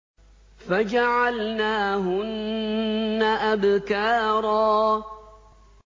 فَجَعَلْنَاهُنَّ أَبْكَارًا